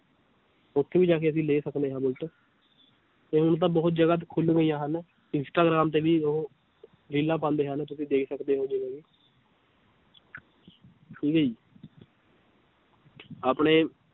ਉੱਥੇ ਵੀ ਜਾ ਕੇ ਅਸੀਂ ਲੈ ਸਕਦੇ ਹਾਂ ਬੁਲਟ ਤੇ ਹੁਣ ਤਾਂ ਬਹੁਤ ਜ਼ਿਆਦਾ ਖੁੱਲ ਗਈਆਂ ਹਨ, ਇਸਟਾਗ੍ਰਾਮ ਤੇ ਵੀ ਉਹ ਰੀਲਾਂ ਪਾਉਂਦੇ ਹਨ ਤੁਸੀਂ ਦੇਖ ਸਕਦੇ ਹੋ ਜਿਵੇਂ ਹੁਣੇ ਆਪਣੇ